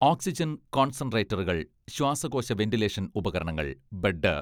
oxygen കോൺസെൻട്രേറ്ററുകൾ, ശ്വാസകോശ ventilation ഉപകരണങ്ങൾ, ബെഡ്